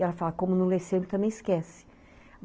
E ela fala, como não lê sempre, também esquece.